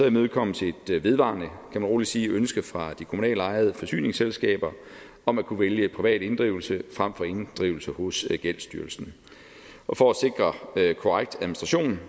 imødekommes et vedvarende kan man roligt sige ønske fra de kommunalt ejede forsyningsselskaber om at kunne vælge privat inddrivelse frem for inddrivelse hos gældsstyrelsen og for at sikre korrekt administration